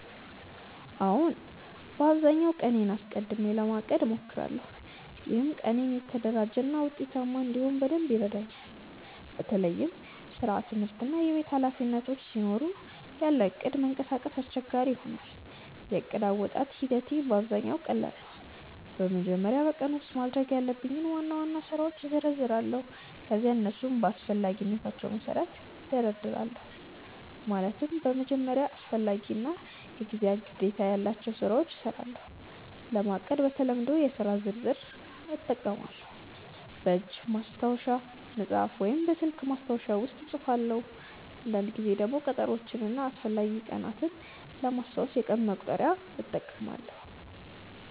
አዎን፣ በአብዛኛው ቀኔን አስቀድሜ ለማቀድ እሞክራለሁ። ይህም ቀኔን የተደራጀ እና ውጤታማ እንዲሆን በደንብ ይረዳኛል። በተለይም ስራ፣ ትምህርት እና የቤት ኃላፊነቶች ሲኖሩ ያለ እቅድ መንቀሳቀስ አስቸጋሪ ይሆናል። የዕቅድ አወጣጥ ሂደቴ በአብዛኛው ቀላል ነው። በመጀመሪያ በቀኑ ውስጥ ማድረግ ያለብኝን ዋና ዋና ስራዎች እዘረዝራለሁ። ከዚያ እነሱን በአስፈላጊነታቸው መሠረት እደርድራለሁ፤ ማለትም በመጀመሪያ አስፈላጊ እና የጊዜ ግዴታ ያላቸውን ስራዎች እሰራለሁ። ለማቀድ በተለምዶ የሥራ ዝርዝር (to-do list) እጠቀማለሁ፣ በእጅ በማስታወሻ መጽሐፍ ወይም በስልክ ማስታወሻ ውስጥ እጽፋለሁ። አንዳንድ ጊዜ ደግሞ ቀጠሮዎችን እና አስፈላጊ ቀናትን ለማስታወስ የቀን መቁጠሪያ (calendar) እጠቀማለሁ።